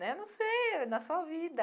Né não sei, na sua vida.